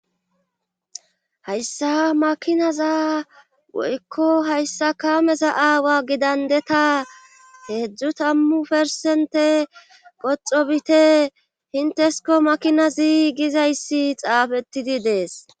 Hayssa makinaza woykko hayssa kameza aawa gidandeta heedzdzu tammu persente qoxobite hintesko makina ziigizayssi xaafettidi dees.